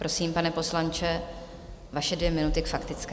Prosím, pane poslanče, vaše dvě minuty k faktické.